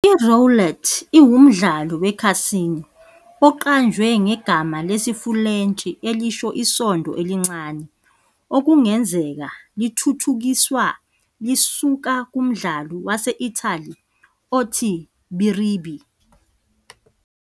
I-Roulette iwumdlalo wekhasino oqanjwe ngegama lesiFulentshi elisho isondo elincane okungenzeka lithuthukiswa lisuka kumdlalo wase-Italy othi Biribi.